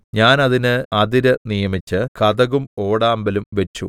ഞാൻ അതിന് അതിര് നിയമിച്ച് കതകും ഓടാമ്പലും വച്ചു